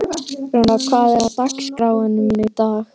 Rúnar, hvað er á dagatalinu mínu í dag?